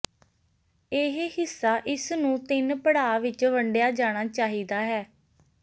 ਇਹ ਹਿੱਸਾ ਇਸ ਨੂੰ ਤਿੰਨ ਪੜਾਅ ਵਿੱਚ ਵੰਡਿਆ ਜਾਣਾ ਚਾਹੀਦਾ ਹੈ